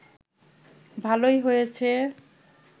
ভালোই হয়েছে